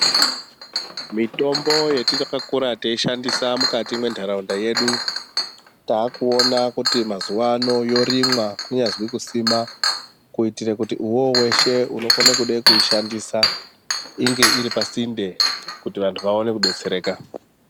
Mitombo yataka kura teyiyi shandisa mukati mwendaraunda yedu tava kuona kuti mazuva ano yorimwa kunyazi kuisima kuitire kuti uyowo weshe unokone kude kuishandisa inge iri pasinde kuti vantu vakone kubatsirika.